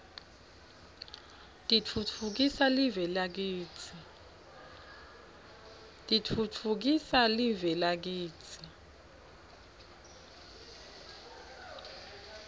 titfutfukisa live lakitsi